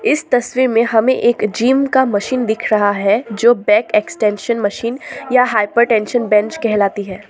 इस तस्वीर में हमें एक जिम का मशीन दिख रहा है जो बैक एक्सटेंशन मशीन या हाइपरटेंशन बेंच कहलाती है।